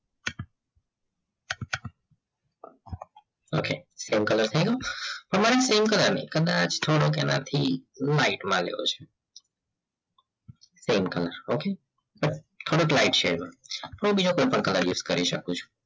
okay same color થયો તમારે સામે color છે કદાચ થોડો એનાથી એવો છે same color okay થોડોક light છે હું બીજો purple કલર use કરી સકું છું